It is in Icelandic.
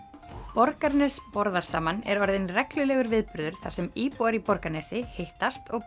Borgarnes borðar saman er orðinn reglulegur viðburður þar sem íbúar í Borgarnesi hittast og